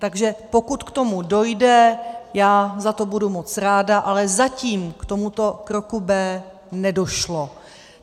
Takže pokud k tomu dojde, já za to budu moc ráda, ale zatím k tomuto kroku B nedošlo.